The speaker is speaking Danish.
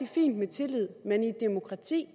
fint med tillid men i et demokrati